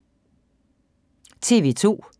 TV 2